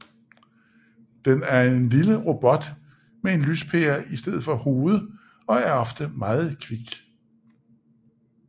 Den er en lille robot med en lyspære i stedet for et hoved og er ofte meget kvik